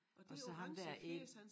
Og så ham dér øh